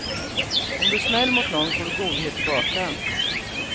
Om du är snäll mot någon får du godhet tillbaka.